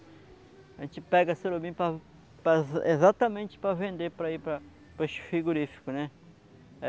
A gente pega surubim para para exatamente para vender para ir para para os frigorificos, né?